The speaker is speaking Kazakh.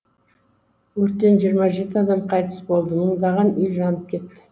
өрттен жиырма жеті адам қайтыс болды мыңдаған үй жанып кетті